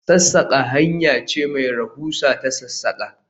Sassaka hanya ce mai rahusa ta sassaka